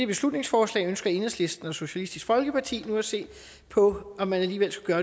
beslutningsforslag ønsker enhedslisten og socialistisk folkeparti nu at se på om man alligevel skulle